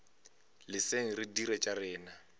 leseng re dire tša rena